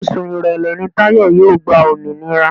Oṣù Èrèlé ni Táyọ̀ yóò gba òmìnira